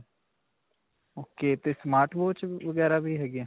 ok. smart watch ਵਗੈਰਾ ਵੀ ਹੈਗੇ ਹੈ.